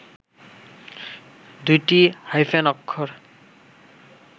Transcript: দুইটি হাইফেন অক্ষর